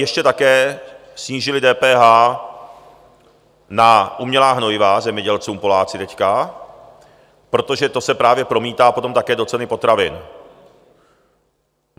ještě také snížili DPH na umělá hnojiva zemědělcům Poláci teď, protože to se právě promítá potom také do ceny potravin.